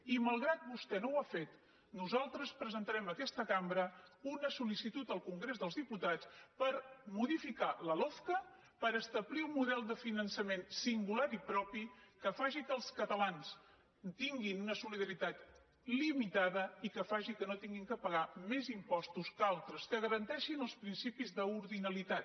i malgrat que vostè no ho ha fet nosaltres presentarem en aquesta cambra una sol·licitud al congrés dels diputats per modificar la lofca per establir un model de finançament singular i propi que faci que els catalans tinguin una solidaritat limitada i que faci que no hagin de pagar més impostos que altres que garanteixin els principis d’ordinalitat